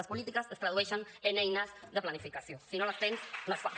les polítiques es tradueixen en eines de planificació si no les tens no en fas